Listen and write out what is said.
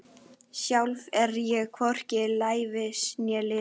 Sjálf er ég hvorki lævís né lipur.